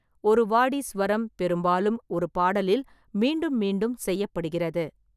ஒரு வாடி ஸ்வரம் பெரும்பாலும் ஒரு பாடலில் மீண்டும் மீண்டும் செய்யப்படுகிறது.